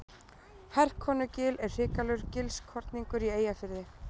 Herkonugil er hrikalegur gilskorningur í Eyjafirði.